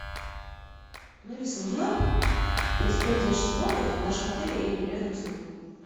алиса узнай про использование шезлонгов в нашем отеле или рядом с ним